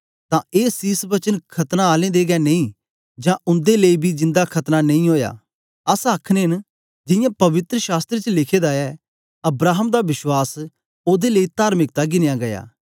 तां ए सीस वचन खतना आलें दे गै लेई न जां उन्दे लेई बी जिन्दा खतना नेई ओया अस आखने न जियां पवित्र शास्त्र च लिखे दा ए अब्राहम दा विश्वास ओदे लेई तार्मिकता गिनया गीया